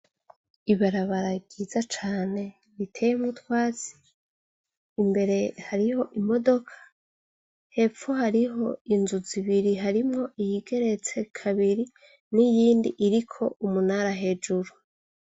Ibarabara ryiza cane riteyemwo utwatsi imbere hariho imodoka hepfo hariho inzu zibiri harimwo iyigeretse kabiri n'iyindi iriko umunara hejuru.